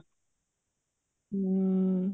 ਹਮ